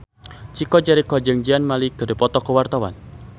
Chico Jericho jeung Zayn Malik keur dipoto ku wartawan